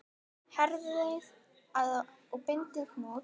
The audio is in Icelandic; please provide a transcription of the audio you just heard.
Herðið að og bindið hnút.